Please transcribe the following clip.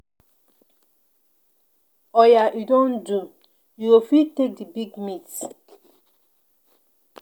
Oya e don do, you go fit take the big meat.